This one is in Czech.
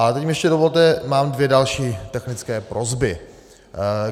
Ale teď mi ještě dovolte, mám dvě další technické prosby.